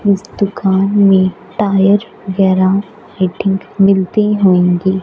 इस दुकान में टायर वगैरह लाइटिंग मिलती होंगी।